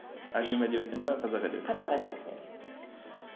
әлем әдебиетінен бе қазақ әдебиетінен бе қазақ әдебиетінен